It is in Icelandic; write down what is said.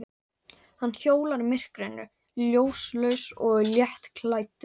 Hann hjólar í myrkrinu, ljóslaus og léttklæddur.